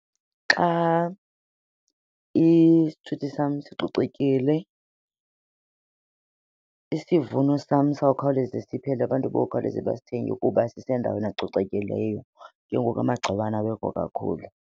Xa isithuthi sam sicocekile isivuno sam sizawukhawuleza siphele, abantu bokhawuleze basithengele kuba sisendaweni ecocekileyo, ke ngoku amagciwane awekho kakhulu.